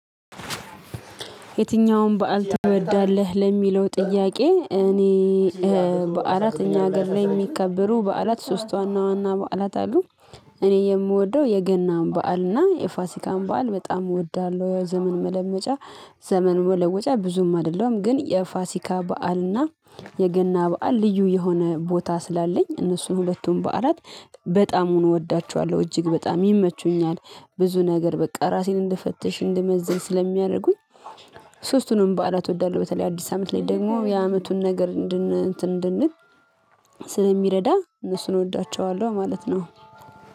የትኛውም በዓል ትወዳለህ? ለሚለው ጥያቄ እኔ በዓላት እኛ ሀገር ላይ የሚከበሩ በዓላት ሶስት ዋና ዋና በዓላት አሉ። እኔ የምወደው የገናን በዓል እና የፋሲካን በዓል በጣም እወዳለሁ። ዘመን መለመጫ ዘመን መለወጫ ብዙም አይደለሁም። ግን የፋሲካ በዓል እና የገና በዓል ልዩ የሆነ ቦታ ስላለኝ እነሱን ሁለቱን በዓላት በጣሙን እወዳቸዋለሁ እጅግ በጣም ይመቹኛል። ብዙ ነገር በቃ ራሴን እንድፈትሽ እንደመዝን ስለሚያደርጉኝ። ሶስቱንም በዓላት እወዳለሁ። በተለይ አዲስ አመት ላይ ደግሞ የዓመቱን ነገር እንድን እንትን እንድንል ስለሚረዳ እነሱን እወዳቸዋለሁ ማለት ነው።